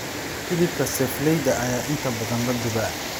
Hilibka seefleyda ayaa inta badan la dubay.